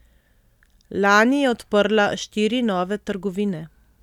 Lani je odprla štiri nove trgovine.